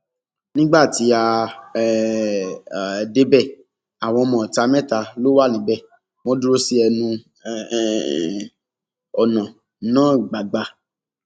nígbà tí a um débẹ àwọn ọmọọta mẹta ló wà níbẹ wọn dúró sí ẹnu um ọnà náà gbàgbà